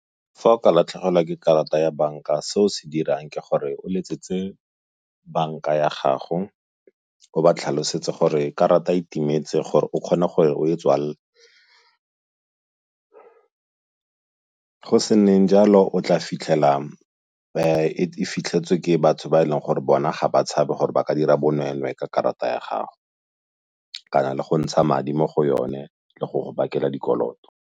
Fa o ka latlhegelwa ke karata ya banka se o se dirang ke gore o letsetse banka ya gago, o ba tlhalosetse gore karata e timetse gore o kgone gore o e tswalele. Go se nneng jalo o tla fitlhela e fitlhetswe ke batho ba e leng gore bona ga ba tshabe gore ba ka dira bonweenwee ka karata ya gago kana le go ntsha madi mo go yone le go go bakela dikoloto.